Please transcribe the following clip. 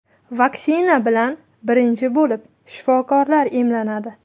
Vaksina bilan birinchi bo‘lib shifokorlar emlanadi.